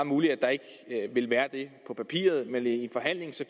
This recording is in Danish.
muligt at der ikke vil være det på papiret men i en forhandling